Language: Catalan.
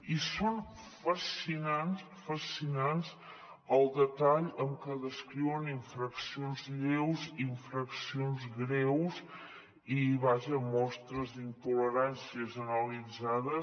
i es fascinant el detall amb què descriuen infraccions lleus infraccions greus i vaja mostres d’intolerància generalitzades